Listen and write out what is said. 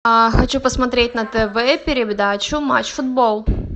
а хочу посмотреть на тв передачу матч футбол